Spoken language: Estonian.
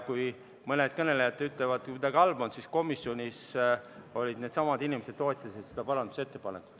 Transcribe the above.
Kui mõned kõnelejad ütlevad, et see kuidagi halb on, siis komisjonis needsamad inimesed toetasid seda parandusettepanekut.